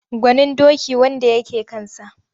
Gwanin doki wanda ya ke kansa.